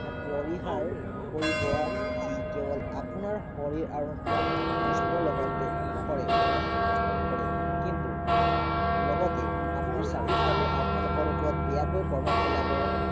পৰিহাৰ কৰিব যি কেৱল আপোনাৰ শৰীৰ আৰু মন নষ্ট লগতে নকৰে নষ্ট নকৰে কিনতু লগতে আপোনাৰ চাৰিওফালে আপোনালোকৰ ওপৰত বেয়াকৈ প্ৰভাৱ পেলাব